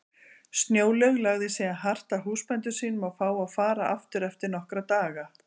Snjólaug lagði síðan hart að húsbændum sínum að fá að fara aftur eftir nokkra daga.